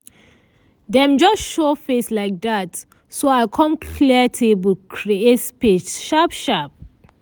dem just show face like dat so i com clear table create space sharp sharp.